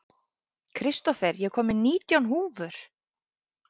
Kristófer, ég kom með nítján húfur!